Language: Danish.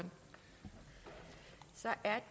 at